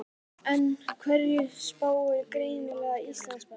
En hverju spáir greining Íslandsbanka?